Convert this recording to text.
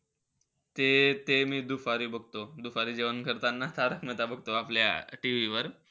ते-ते मी दुपारी बघतो. दुपारी जेवण करताना तारक मेहता बघतो, आपल्या TV वर.